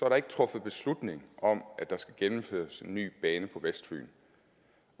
der ikke truffet beslutning om at der skal gennemføres en ny bane på vestfyn